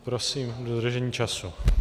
Prosím o dodržení času.